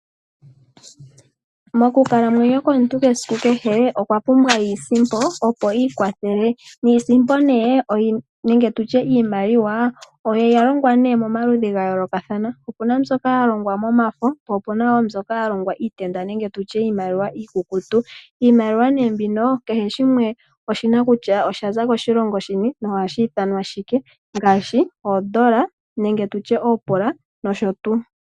Mokukalamwenyo komuntu kwesiku kehe okwa pumbwa iisimpo opo ikwathele. Iisimpo ne nenge tutye iimaliwa oya longwa momaludhi ga yoolokathana, opuna mbyoka ya longwa momafo po opena mbyoka ya longwa miitenda nenge tutye iimaliwa iikukutu. Iimaliwa ne mbino kehe shimwe oshina kutya osha za koshilongo shini, nohashi ithanwa shike, ngashi ondola nenge tutye opula noshotu.